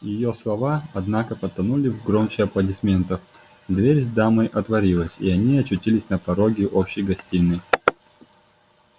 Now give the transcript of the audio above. её слова однако потонули в громе аплодисментов дверь с дамой отворилась и они очутились на пороге общей гостиной